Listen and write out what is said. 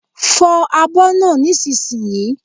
Fo abo náà nísinsìnyí!